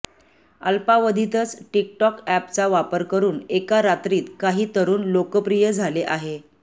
अल्पावधीतच TikTok अॅपचा वापर करून एका रात्रीत काही तरूण लोकप्रिय झाले आहे